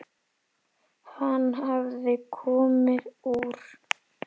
Hann hafði komið úr